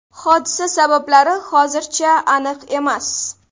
Hodisa sabablari hozircha aniq emas.